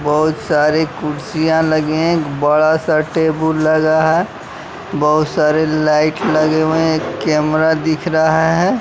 बहुत सारे कुर्सियां लगे हैं एक बड़ा सा टेबुल लगा है बहुत सारे लाइट लगे हुए कैमरा दिख रहा है।